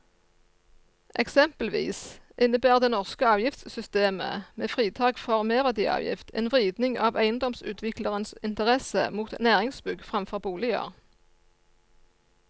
Eksempelvis innebærer det norske avgiftssystemet med fritak for merverdiavgift en vridning av eiendomsutviklerens interesse mot næringsbygg fremfor boliger.